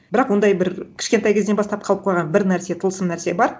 бірақ ондай бір кішкентай кезден бастап қалып қойған бір нәрсе тылсым нәрсе бар